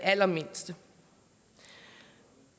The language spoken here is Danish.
allermindste